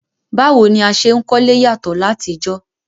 Báwo ni a se n kólé yàtọ́ látijọ́